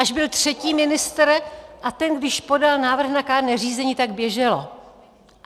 Až byl třetí ministr, a když ten podal návrh na kárné řízení, tak běželo.